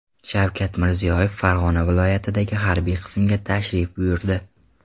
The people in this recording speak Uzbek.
Shavkat Mirziyoyev Farg‘ona viloyatidagi harbiy qismga tashrif buyurdi.